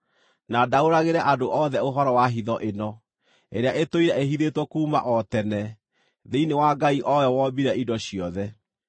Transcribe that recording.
na ndaũragĩre andũ othe ũhoro wa hitho ĩno, ĩrĩa ĩtũire ĩhithĩtwo kuuma o tene, thĩinĩ wa Ngai o we wombire indo ciothe.